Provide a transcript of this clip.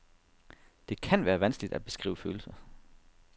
Det kan være vanskeligt at beskrive følelser.